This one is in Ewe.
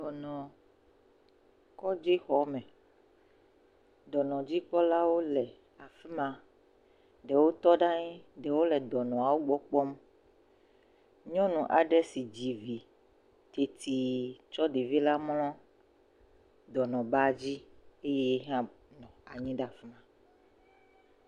Dɔnɔkɔdzixɔme, dɔnɔdzikpɔlawo le afi ma, ɖewo tɔ ɖe anyi, ɖewo le dɔnɔawo gbɔ kpɔm. Nyɔnu aɖe si dzi vi teti tsɔ ɖevi mlɔ dɔnɔbadzi eye yehã nɔ anyi ɖe afi ma.